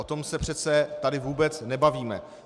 O tom se přece tady vůbec nebavíme.